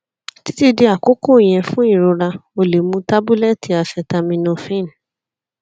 titi di akoko yẹn fun irora o le mu tabulẹti acetaminophen